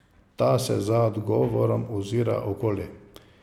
Ta se za odgovorom ozira okoli.